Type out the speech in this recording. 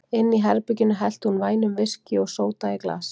Inni í herberginu hellti hún vænum viskí og sóda í glas.